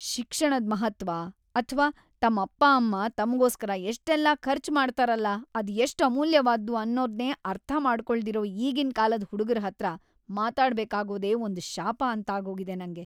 ಶಿಕ್ಷಣದ್‌ ಮಹತ್ತ್ವ ಅಥ್ವಾ ತಮ್ ಅಪ್ಪ ಅಮ್ಮ ತಮ್ಗೋಸ್ಕರ ಎಷ್ಟೆಲ್ಲ ಖರ್ಚ್‌ ಮಾಡ್ತಾರಲ ಅದ್‌ ಎಷ್ಟ್‌ ಅಮೂಲ್ಯವಾದ್ದು ಅನ್ನೋದ್ನೇ ಅರ್ಥ ಮಾಡ್ಕೊಳ್ದಿರೋ ಈಗಿನ್‌ ಕಾಲದ್‌ ಹುಡ್ಗುರ್‌ ಹತ್ರ ಮಾತಾಡ್ಬೇಕಾಗೋದೇ ಒಂದ್‌ ಶಾಪ ಅಂತಾಗೋಗಿದೆ ನಂಗೆ.